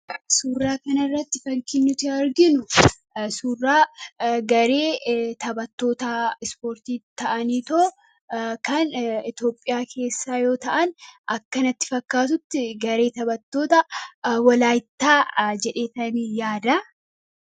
Suuraa kana irratti fakkiin nuti arginu suuraa garee taphattootaa ispoortii ta'aniitoo kan Itoophiyaa keessaa yoo ta'an akka natti fakkaatutti garee taphattoota Walaayittaa jedhee tanii yaada.